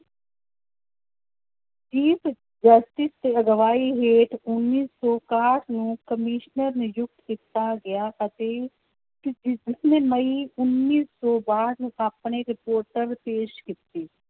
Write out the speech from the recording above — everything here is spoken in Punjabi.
ਅਗਵਾਈ ਹੇਠ ਉੱਨੀ ਸੌ ਇਕਾਹਠ ਨੂੰ ਕਮਿਸ਼ਨਰ ਨਿਯੁਕਤ ਕੀਤਾ ਗਿਆ, ਅਤੇ ਮਈ ਉੱਨੀ ਸੌ ਬਾਹਠ ਨੂੰ ਆਪਣੇ reporter ਪੇਸ਼ ਕੀਤੀ